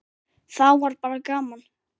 Þá var bara gaman.